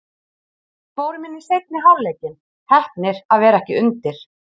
Við fórum inn í seinni hálfleikinn, heppnir að vera ekki undir.